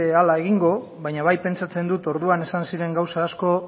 hala egingo baina bai pentsatzen dut orduan esan ziren asko